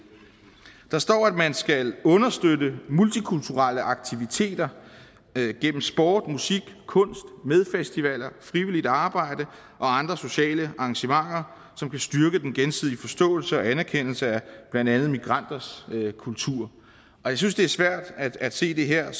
der står at man skal understøtte multikulturelle aktiviteter gennem sport musik kunst med festivaler frivilligt arbejde og andre sociale arrangementer som vil styrke den gensidige forståelse og anerkendelse af blandt andet migranters kultur jeg synes det er svært at se det her